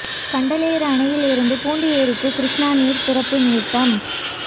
கண்டலேறு அணையில் இருந்து பூண்டி ஏரிக்கு கிருஷ்ணா நீர் திறப்பு நிறுத்தம்